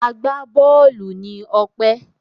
Agbá-bọ́ọ́lù ni Ọpẹ́.